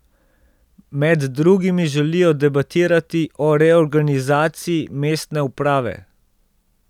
Med drugim želijo debatirati o reorganizaciji mestne uprave.